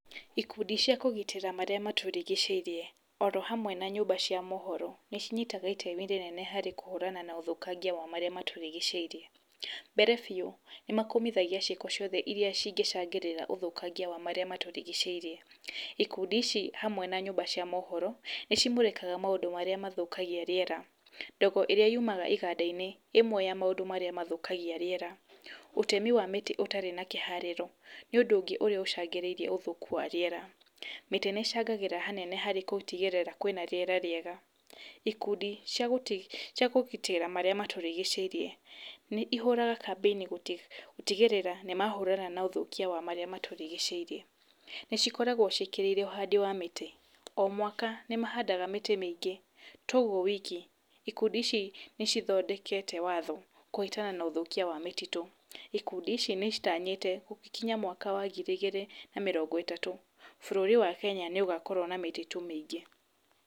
Ikundi cia kũgitĩra marĩa matũrigicĩirie, orohamwe na nyũmba cia mohoro, nĩ cinyitaga itemi ĩnene harĩ kũhũrana na ũthũkangia wa marĩa matũrigicĩirie. Mbere biũ, nĩ makomithagia ciĩko ciothe iria cingĩcangĩrĩra ũthũkangia wa marĩa matũrigicĩirie, ikundi ici hamwe na nyũmba cia mohoro, nĩ cimũrĩkaga maũndũ marĩa mathũkagia rĩera, ndogo ĩrĩa yumaga iganda-inĩ ĩmwe ya marĩa mathũkagia rĩera, ũtemi wa mĩtĩ ũtarĩ na kĩharĩro, nĩ ũndũ ũngĩ ũrĩa ũcangĩrĩirie ũthũku wa rĩera, mĩtĩ nĩ ĩcangagĩra hanene harĩ gũtigĩrĩre kwĩna rĩera rĩega, ikundi cia gũti, cia kũgitĩra marĩa matũrigicĩirie, nĩ ihũraga kambĩini gũtigĩrĩra nĩ mahũrana na ũthũkia wa marĩa matũrigicĩirie, nĩ cikoragwo ciĩkĩrĩire ũhandi wa mĩtĩ, o mwaka nĩ mahandaga mĩtĩ mĩingĩ, to ũguo wiki, ikundi ici nĩ cithondekete watho kũhĩtana na ũthũkia wa mĩtitũ, ikundi ici nĩ citanyĩte gũgĩkinya mwaka wa ngiri igĩrĩ na mĩrongo ĩtatũ, bũrũri wa Kenya nĩ ũgakorwo na mĩtitũ mĩingĩ.